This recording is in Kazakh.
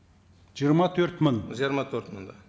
жиырма төрт мың жиырма төрт мың да